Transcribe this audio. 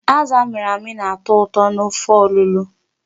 Azụ a mịrị amị na-atọ ụtọ n"ofe ọlụlọ.